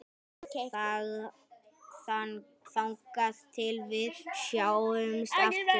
Þangað til við sjáumst aftur.